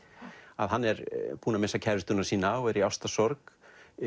hann er búinn að missa kærustuna sína og er í ástarsorg